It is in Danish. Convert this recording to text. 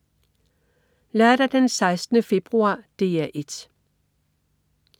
Lørdag den 16. februar - DR 1: